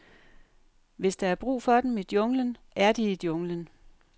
Hvis der er brug for dem i junglen, er de i junglen.